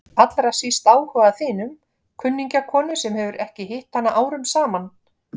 Allra síst áhuga þínum, kunningjakonu sem hefur ekki hitt hana árum saman.